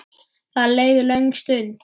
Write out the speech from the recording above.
Það leið löng stund.